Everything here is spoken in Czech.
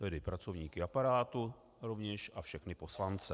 Tedy pracovníky aparátu rovněž a všechny poslance.